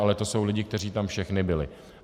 Ale to jsou lidi, kteří tam všichni byli.